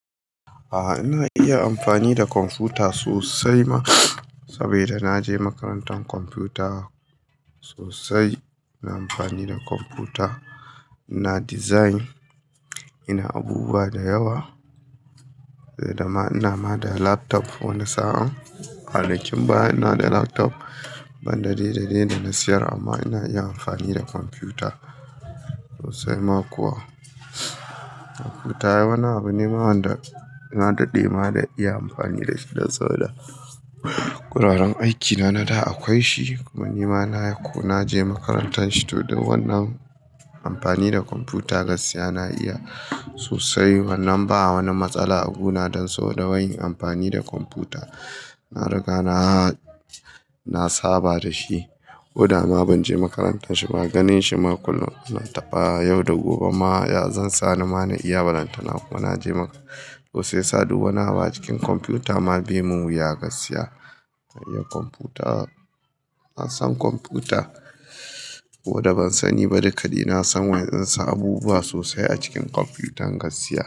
A'a, ina iya amfani da kwamfuta sosai ma. Saboda na je makarantar kwamfuta sosai. Ina amfani da kwamfuta, ina design, ina abubuwa da yawa. Ina ma da laptop wani sa'an. Kwanakin baya ina da laptop ban da dai da dai da na siyar amma ina iya amfani da kwamfuta sosai ma kuwa. Kwamfuta wani abu ne wanda na daɗe ma da iya amfani da shi dan saboda. Guraren aikina na da akwai shi kuma ni ma na je makarantan shi. To don wannan amfani da kwamfuta gaskiya na iya sosai. Wannan ba wani matsala abu na don saboda wai yin amfani da kwamfuta. Na riga na, na saba da shi. Ko da ma ban je makarantan shi ba ganin shi ma kullum na taɓa yau da gobe ma ya zai sani ma na iya balantana. Kuma na je sosai. Shiyasa duk wani abu a cikin kwamfuta ma bai mun wuya gaskiya. Kwamfuta, na san kwamfuta ko da ban sani ba duka ni na san wa zan sa abubuwa sosai a cikin kwamfuta gaskiya.